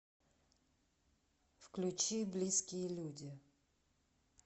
включи близкие люди